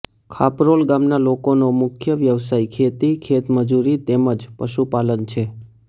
ખાપરોલ ગામના લોકોનો મુખ્ય વ્યવસાય ખેતી ખેતમજૂરી તેમ જ પશુપાલન છે